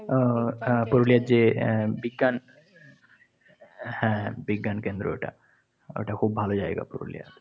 উহ পুরুলিয়ায় যে আহ বিজ্ঞান হ্যাঁ, বিজ্ঞান কেন্দ্র ওটা। ওটা খুব ভালো জায়গা পুরুলিয়ার।